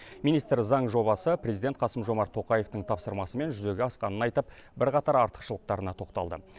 министр заң жобасы президент қасым жомарт тоқаевтың тапсырмасымен жүзеге асқанын айтып бірқатар артықшылықтарына тоқталды